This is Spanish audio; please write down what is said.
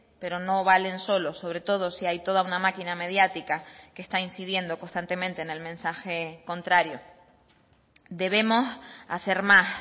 pero no valen solos sobre todo si hay toda una maquina mediática que está incidiendo constantemente en el mensaje contrario debemos hacer más